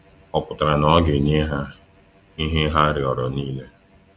Ọ pụtara na ọ ga-enye ha ihe ha rịọrọ niile?